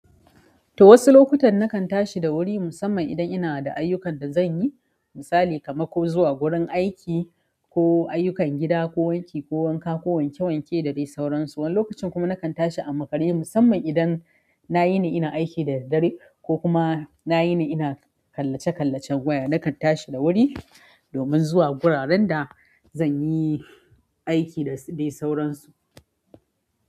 To wasu lokutan nakan tashi da wuri musamman idan ina da ayyukan da zanyi misali kamar ko zuwa gurin aiki ko ayyukan gida ko wanki ko wanka ko wanke wanke da dai sauran su. Wani lokacin kuma nakan tashi a makare musamman idan nayi ne ina aiki da daddare ko kuma nayi ne ina kallace kallacen waya nakan tashi da wuri domin zuwa guraren da zanyi aiki da dai sauran su.